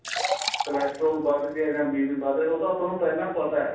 cholesterol ਵੱਧ ਗਿਆ ਜਾਂ BP ਵੱਧ ਗਿਆ ਉਹ ਤਾਂ ਆਪਾਂ ਨੂੰ ਪਹਿਲਾਂ ਪਤਾ ਏ